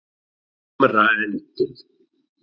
Hamraendum